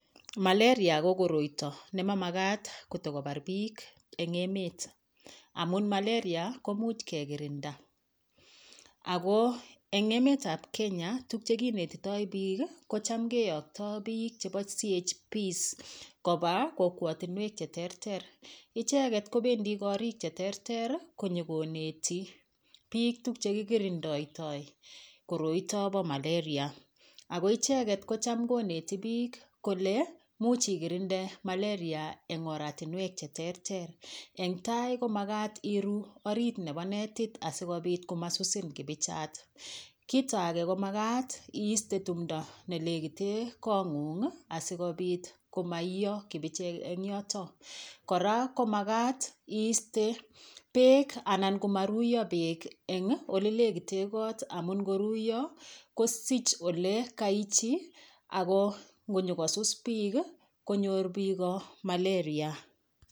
Malaria ko koroito ne makat kotikobar piik eng emet amun malaria komuch kekirinda amun eng emet ab Kenya tukchekinetotoi piik kocham keyoktoi piik chebo CHP koba kokwotonwek cheterter icheket kobendi korik cheterter konyikoneti piik tukchekikirindoitoi koroito bo malaria Ako icheget kocham koneti piik kole much ikirinde malaria eng oratinwek cheterter eng tai komakat iru orit nebo netit asikopit komasusin kipichat kito age komakat iiste tumdo nelekite kong'ung asikopit komaiyo kibichek eng yoto kora komakat iiste beek anan komaruiyo beek eng ole lekite kot amun koruyo kosich olekaichi Ako ngonyikosus piik konyor piko malaria